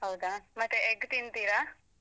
ಹೌದ ಮತ್ತೆ egg ತಿಂತೀರಾ?